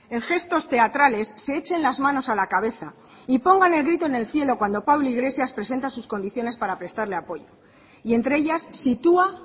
en gestos teatrales se echen las manos a la cabeza y pongan el grito en el cielo cuando pablo iglesias presenta sus condiciones para prestarle apoyo y entre ellas sitúa